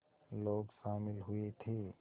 लोग शामिल हुए थे